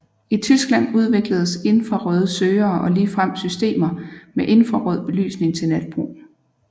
I Tyskland udvikledes infrarøde søgere og ligefrem systemer med infrarød belysning til natbrug